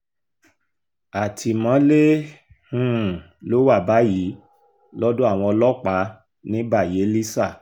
àtìmọ́lé um ló wà báyìí lọ́dọ̀ àwọn ọlọ́pàá ní bayelísa